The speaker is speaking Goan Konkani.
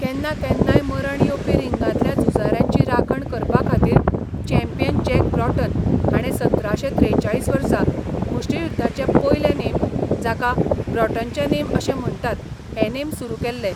केन्ना केन्नाय मरण येवपी रिंगांतल्या झुजाऱ्यांची राखण करपाखातीर चॅम्पियन जॅक ब्रॉटन हाणें सतराशें त्रेचाळीस वर्सा मुष्टियुध्दाचे पयले नेम, जाका ब्रॉटनचे नेम अशें म्हण्टात, हे नेम सुरू केल्ले.